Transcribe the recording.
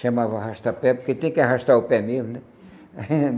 Chamava arrasta-pé, porque tem que arrastar o pé mesmo, né?